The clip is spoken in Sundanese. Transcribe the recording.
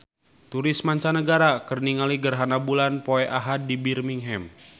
Turis mancanagara keur ningali gerhana bulan poe Ahad di Birmingham